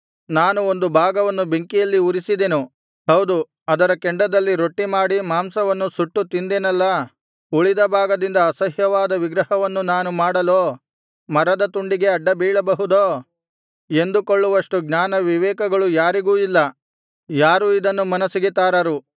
ನಾನು ಒಂದು ಭಾಗವನ್ನು ಬೆಂಕಿಯಲ್ಲಿ ಉರಿಸಿದೆನು ಹೌದು ಅದರ ಕೆಂಡದಲ್ಲಿ ರೊಟ್ಟಿ ಮಾಡಿ ಮಾಂಸವನ್ನು ಸುಟ್ಟು ತಿಂದೆನಲ್ಲಾ ಉಳಿದ ಭಾಗದಿಂದ ಅಸಹ್ಯವಾದ ವಿಗ್ರಹವನ್ನು ನಾನು ಮಾಡಲೋ ಮರದ ತುಂಡಿಗೆ ಅಡ್ಡಬೀಳಬಹುದೋ ಎಂದುಕೊಳ್ಳುವಷ್ಟು ಜ್ಞಾನ ವಿವೇಕಗಳು ಯಾರಿಗೂ ಇಲ್ಲ ಯಾರೂ ಇದನ್ನು ಮನಸ್ಸಿಗೆ ತಾರರು